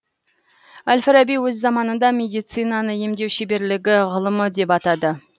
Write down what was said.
әл фараби өз заманында медицинаны емдеу шеберлігі ғылымы деп атады